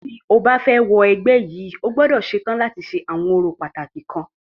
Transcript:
Tí o bá fẹ́ wọ ẹgbẹ́ yìí,o gbọ́dọ̀ ṣetán láti ṣe àwọn orò pàtàkì kan.